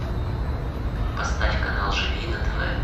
поставь канал живи на тв